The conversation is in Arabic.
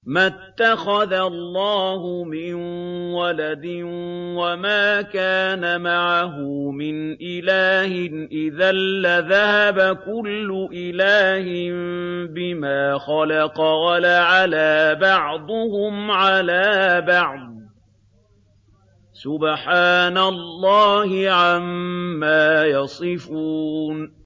مَا اتَّخَذَ اللَّهُ مِن وَلَدٍ وَمَا كَانَ مَعَهُ مِنْ إِلَٰهٍ ۚ إِذًا لَّذَهَبَ كُلُّ إِلَٰهٍ بِمَا خَلَقَ وَلَعَلَا بَعْضُهُمْ عَلَىٰ بَعْضٍ ۚ سُبْحَانَ اللَّهِ عَمَّا يَصِفُونَ